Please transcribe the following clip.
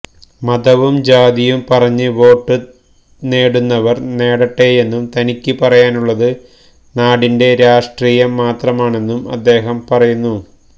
മതവും ജാതിയും പറഞ്ഞ് വോട്ട് നേടുന്നവര് നേടട്ടെയെന്നും തനിക്ക് പറയാനുള്ളത് നാടിന്റെ രാഷ്ട്രീയം മാത്രമാണെന്നും അദ്ദേഹം പറയുന്നു